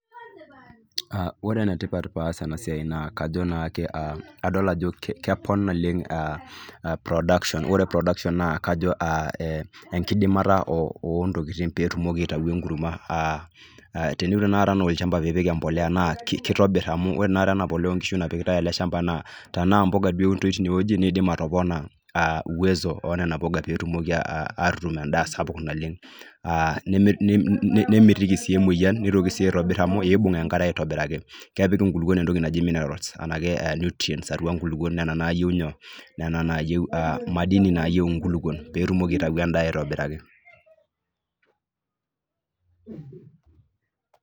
Aa , ore ene tipat paas ena siai naa adol naake , adol ajo kepon naleng aa production , ore production naa kajo enkiimata , ontokitin peetumoki aitayu enkurma aa teniun tenakata anaa olchamba apik embolea naa kitobir amu ore tenakata ena pulia napikitae tene naa tenaa mpuka duo eunitoi tine wueji , nidim atopona uwezo onena puka peetumoki aa atutum embae sapuk naleng , aa nemitiki sii emwoyian , nitoki sii aitobir amu ibung enkare aitobiraki . Kepik inkulukuok entoki naji nutrients anake minerals nena naayieu nyoo, nena nayieu , madini naayieu nkulukuon peetumoki aitayu endaa aitobiraki .